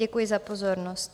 Děkuji za pozornost.